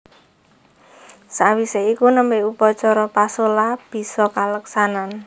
Sawisé iku nembe upacara pasola bisa kaleksanan